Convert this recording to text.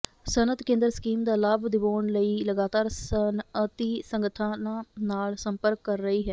ਸਨਅਤ ਕੇਂਦਰ ਸਕੀਮ ਦਾ ਲਾਭ ਦਿਵਾਉਣ ਲਈ ਲਗਾਤਾਰ ਸਨਅਤੀ ਸੰਗਠਨਾਂ ਨਾਲ ਸੰਪਰਕ ਕਰ ਰਹੀ ਹੈ